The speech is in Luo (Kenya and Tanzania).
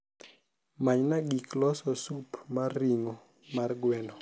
manyna gik loso sup mar ringo mar gweno